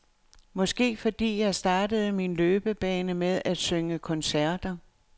Måske fordi jeg startede min løbebane med at synge koncerter.